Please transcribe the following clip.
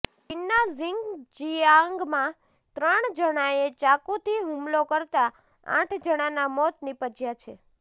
ચીનના ઝીન્જિયાંગમાં ત્રણ જણાંએ ચાકુથી હુમલો કરતાં આઠ જણાંના મોત નિપજ્યા છે